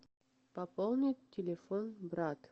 пополнить телефон брат